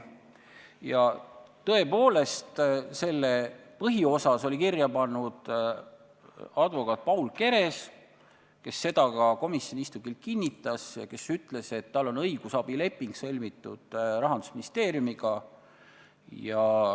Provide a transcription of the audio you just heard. Ja tõepoolest, selle oli põhiosas kirja pannud advokaat Paul Keres, kes seda ka komisjoni istungil kinnitas ja kes ütles, et tal on Rahandusministeeriumiga sõlmitud õigusabileping.